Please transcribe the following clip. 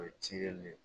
O ye cikɛli le ye